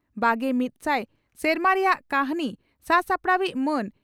ᱵᱟᱜᱮ ᱢᱤᱫ ᱥᱟᱭ ᱥᱮᱨᱢᱟ ᱨᱮᱭᱟᱜ ᱠᱟᱹᱦᱱᱤ ᱥᱟᱼᱥᱟᱯᱲᱟᱣᱤᱡ ᱺ ᱢᱟᱱ